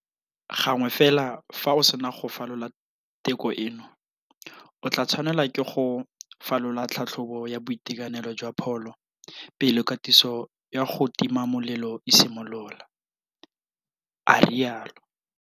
Gangwe fela fa o sena go falola teko eno, o tla tshwanelwa ke go falola tlhatlhobo ya boitekanelo jwa pholo pele katiso ya go tima molelo e simolola, a rialo.